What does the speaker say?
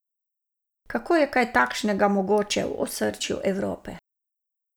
Kako je kaj takšnega mogoče v osrčju Evrope?